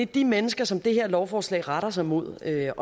de mennesker som det her lovforslag retter sig mod det er